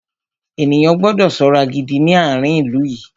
Ènìyàn gbọ́dọ̀ ṣọ́ra gidi ní àárín ilú yìí.